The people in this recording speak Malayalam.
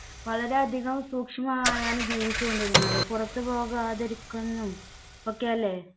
വളരെയധികം സൂക്ഷ്മമായാണ് ജീവിച്ചുകൊണ്ടിരുന്നത്. പുറത്തു പോകാതിരിക്കുന്നു ഒക്കെയല്ലേ